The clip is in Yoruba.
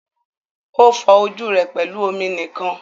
O fọ ojú rẹ pẹlú omi nìkan.